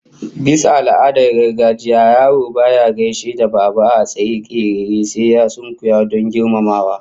Bisa al'adar gargajiya yaro baya gaishe da babba a state kerere sai ya sunkuya don girmamawa